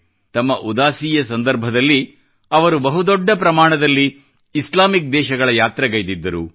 ತಮ್ಮ ಉದಾಸಿಯ ಸಂದರ್ಭದಲ್ಲಿ ಅವರು ಬಹು ದೊಡ್ಡ ಪ್ರಮಾಣದಲ್ಲಿ ಇಸ್ಲಾಮಿಕ್ ದೇಶಗಳ ಯಾತ್ರೆಗೈದಿದ್ದರು